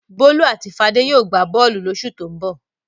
Bólú àti Fadé yóò gbá bọ́ọ́lù lóṣù tó ń bọ̀.